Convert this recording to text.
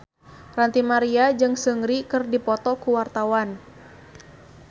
Ranty Maria jeung Seungri keur dipoto ku wartawan